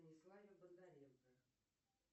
станиславе бондаренко